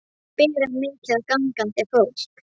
Við viljum fá samband við Friðrik mikla.